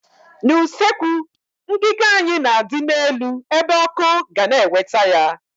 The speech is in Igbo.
N' usekwu, ngiga anyị na adị n'elu ebe ọkụ ga na eweta ya